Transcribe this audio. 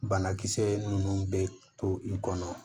Banakisɛ ninnu bɛ to i kɔnɔ